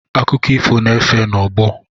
Akụkọ ifo, na-efe n'ọgbọ.